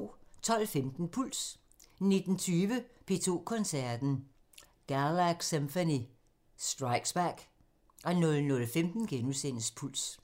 12:15: Puls 19:20: P2 Koncerten – Galaxymphony – Strikes back 00:15: Puls *